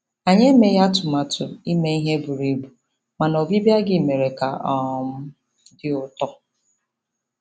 Anyị emeghị atụmatụ ime ihe buru ibu, mana ọbịbịa gị mere ka ọ um dị ụtọ.